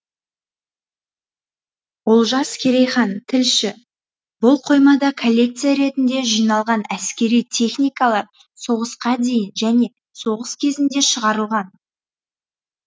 олжас керейхан тілші бұл қоймада коллекция ретінде жиналған әскери техникалар соғысқа дейін және соғыс кезінде шығарылған